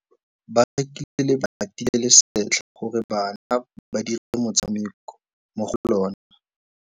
Ba rekile lebati le le setlha gore bana ba dire motshameko mo go lona.